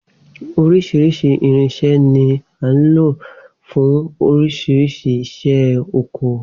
Oríṣiríṣi irinsẹ́ ni là ń lò fún oríṣi iṣẹ́ oko